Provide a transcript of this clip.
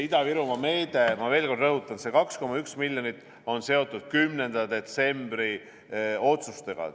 Ida-Virumaa meede, ma veel kord rõhutan, see 2,1 miljonit on seotud 10. detsembri otsustega.